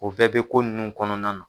U bɛɛ bɛ ko ninnu kɔnɔna na.